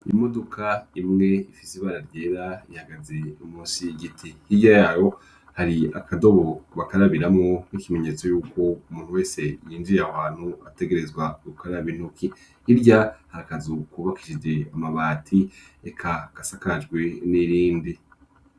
Imodoka imwe ifise ibara ryera, ihagaze musi y'igiti, hirya yabo hari akadobo bakarabiramwo, nk'ikimenyetso y'uko umuntu wese yinjiye aho hantu, ategerezwa rukaraba intoki, hirya hari akazu kubakishije amabati, eka gasakajwe n'irindi.